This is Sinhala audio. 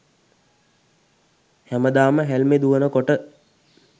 හැමදාම හැල්මෙ දුවනකොට